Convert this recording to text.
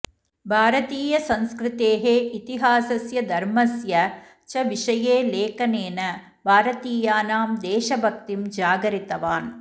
भारतीयसंस्कृतेः इतिहासस्य धर्मस्य च विषये लेखनेन भारतीयानां देशभक्तिं जागरितवान्